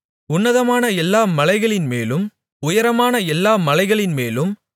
உன்னதமான எல்லா மலைகளின்மேலும் உயரமான எல்லா மலைகளின்மேலும்